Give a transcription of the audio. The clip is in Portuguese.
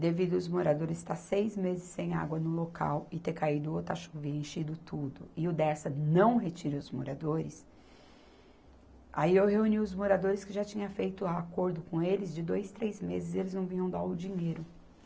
devido os moradores estar seis meses sem água no local e ter caído outra chuva e enchido tudo, e o Dersa não retira os moradores, aí eu reuni os moradores que já tinha feito acordo com eles de dois, três meses e eles não vinham dar o dinheiro.